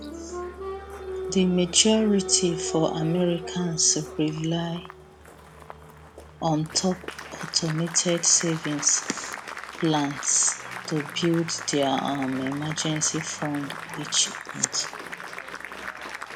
di majority for americans rely on top automated savings plans to build dia um emergency fund each month